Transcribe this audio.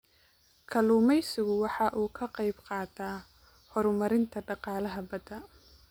Kalluumaysigu waxa uu ka qayb qaataa horumarinta dhaqaalaha badda.